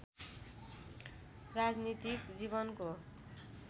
राजनैतिक जीवनको